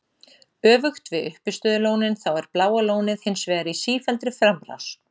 Öfugt við uppistöðulónin þá er Bláa lónið hins vegar í sífelldri framrás.